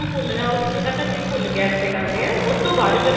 ਫੁੱਲਦਾ ਉਦੋਂ ਤੱਕ ਅਸੀਂ ਫੁੱਲ ਗੈਸ ਤੇ ਕਰਦੇ ਹਾਂ ਉਸਤੋਂ ਬਾਅਦ ਜਦੋਂ